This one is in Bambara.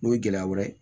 N'o ye gɛlɛya wɛrɛ ye